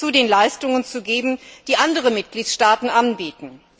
zu den Leistungen zu geben, die andere Mitgliedstaaten anbieten.